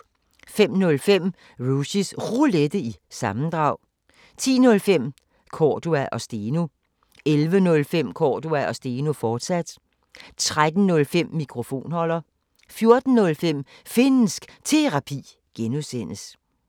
05:05: Rushys Roulette – sammendrag 10:05: Cordua & Steno 11:05: Cordua & Steno, fortsat 13:05: Mikrofonholder 14:05: Finnsk Terapi (G)